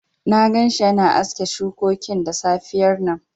Na gan shi yana aske shukokin da safiyar nan